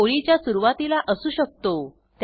तो ओळीच्या सुरूवातीला असू शकतो